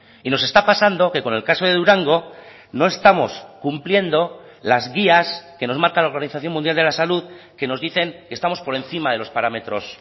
y nos está pasando que con el caso de durango no estamos cumpliendo las guías que nos marca la organización mundial de la salud que nos dicen que estamos por encima de los parámetros